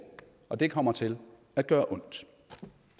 og det kommer til at gøre ondt